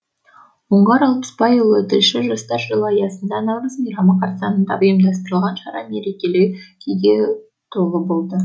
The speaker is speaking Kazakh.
оңғар алпысбайұлы тілші жастар жылы аясында наурыз мейрамы қарсаңында ұйымдастырылған шара мерекелік күйге толы болды